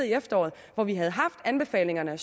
i efteråret hvor vi havde haft anbefalingerne